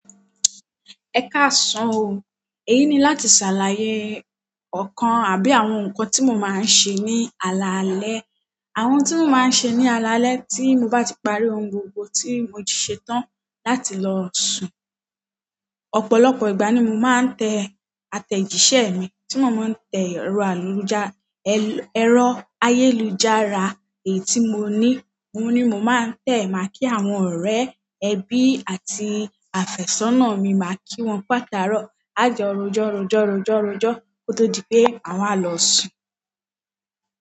Ẹ káàsán o, èyí ni láti ṣàlàyé ọ̀kan àbí àwọn nǹkan tí mo máa ń ṣe ní alaalẹ́. Àwọn tí mo máa ń ṣe ní alaalẹ́ tí mo bá ti parí ohun gbogbo tí mo ti ṣetán láti lọ sùn. Ọ̀pọ̀lọpọ̀ ìgbà ni mo máa ń tẹ àtẹ̀jíṣẹ́ mi tí mo máa ń tẹ̀ rọ̀ àlùjá, ẹ̀rọ ayélujára èyí tí mo ní. Mo ní mo máa ń tẹ̀ máa kí àwọn ọ̀rẹ́, ẹbí àti àfẹ́sọ́nà mi, máa kí wọn ku atàró, á jọ rojọ́ rojọ́ rojọ́ rojọ́, ó tó di pé àwọn á lọ sùn.